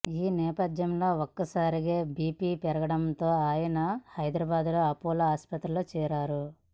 ఈ నేపథ్యంలో ఒక్కసారిగా బీపీ పెరగడంతో ఆయన హైదరాబాద్ అపోలో ఆసుపత్రిలో చేరారు